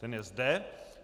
Ten je zde.